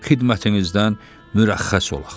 Xidmətinizdən mürəxxəs olaq.